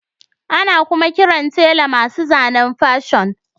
Ana kuma kiran tela masu zanen Fashion